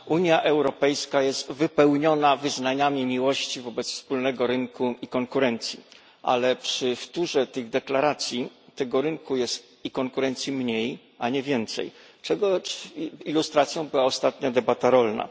Unia Europejska jest wypełniona wyznaniami miłości do wspólnego rynku i konkurencji, ale przy wtórze tych deklaracji tego rynku i konkurencji jest mniej, a nie więcej, czego ilustracją była ostatnia debata rolna.